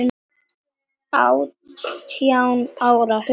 Átján ára, hugsa sér!